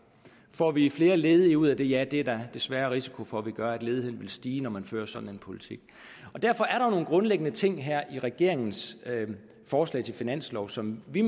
får vi flere ledige ud af det ja det er der desværre risiko for at vi gør ledigheden vil stige når man fører sådan en politik derfor er der nogle grundlæggende ting her i regeringens forslag til finanslov som vi